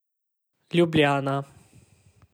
Ljubljana.